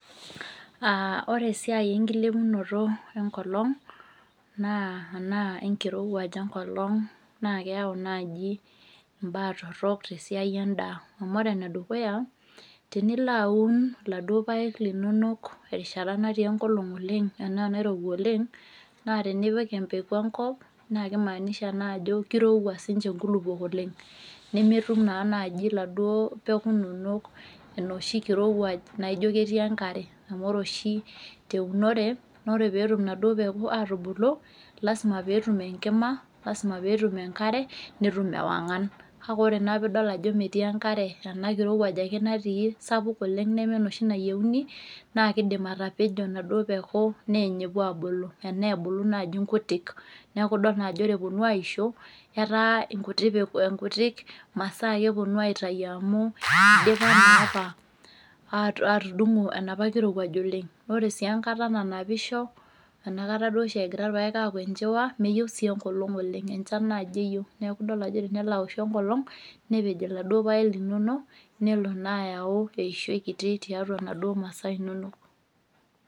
Uh ore esiai enkilepunoto enkolong naa anaa enkirowuaj enkolong naa keyau naaji imbaa torrok tesiai endaa amu ore enedukuya tenilo aun iladuo payek linonok terishata natii enkolong oleng anaa nairowua oleng naa tenipi empeku enkop naa kimaanisha naa ajo kirowua sinche inkulupuok oleng nemetum naa naaji iladuo peku inonok enoshi kirowuaj naijio ketii enkare amu ore oshi teunore nore petum inaduo peku atubulu lasima peetum enkima lasima peetum enkare netum ewang'an kake ore naa piidol ajo metii enkare ena kirowuaj ake natii sapuk oleng neme enoshi nayieuni naa kidim atapejo inaduo peku neeny epuo abuku enaa ebulu naaji nkutik neaku idol naa ajo ore eponu aisho etaa nkuti peku nkutik masaa ake eponu aitai amu idipa naa apa atu atudung'u enapa kirowuaj oleng nore sii enkata nanapisho enakata duo oshi egira irpayek aaku enchiwa meyieu sii enkolong oleng enchan naaji eyieu niaku idol ajo enelo awoshu enkolong nepej iladuo payek linonok nelo naa ayau kiti tiatua inaduo masaa inonok.